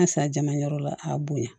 An ka san jamayɔrɔ la a bonya